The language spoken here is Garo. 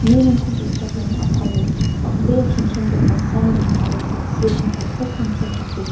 mirangko ge·chakram a·palo bang·bea chonchongipa samrang aro samsirang tangsek tangsek dake chat --